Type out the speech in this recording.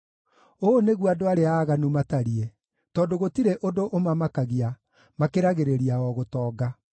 Ũũ nĩguo andũ arĩa aaganu matariĩ: tondũ gũtirĩ ũndũ ũmamakagia, makĩragĩrĩria o gũtonga.